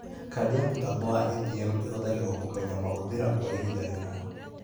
Kandi ya mũtambo wa ATM ĩhuthagĩrwo kũmenya mahũthĩra kwa ihinda rĩna